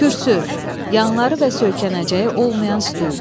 Kürsü, yanları və söykənəcəyi olmayan stol.